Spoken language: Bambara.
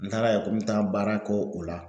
N taara yan ko n bɛ taa baara k'o la